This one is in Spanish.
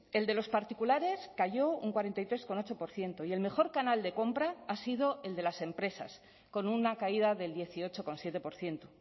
el de los particulares cayó un cuarenta y tres coma ocho por ciento y el mejor canal de compra ha sido el de las empresas con una caída del dieciocho coma siete por ciento